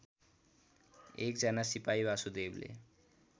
एकजना सिपाही वासुदेवले